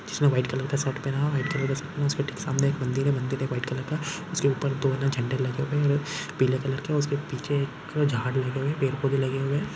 जिसमे white colour का shirt पहना हुआ हैं वाइट कलर के सामने एक मंदिर हैं मंदिर में वाइट कलर का के ऊपर दो झंडे लगे हुए हैं पीले कलर का उसके पीछे झाड़ लगे हैं पेड़ पौधे लगे हुए हैं।